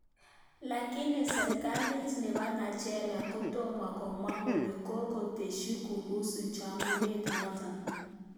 Lakini serekalit nebo Nageria kotomo komwa kole kokoteshi kuhusu chaguanet notok.